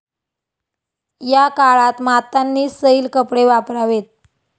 या काळात मातांनी सैल कपडे वापरावेत.